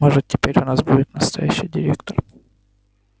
может теперь у нас будет настоящий директор